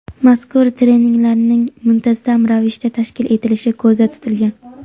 mazkur treninglarning muntazam ravishda tashkil etilishi ko‘zda tutilgan.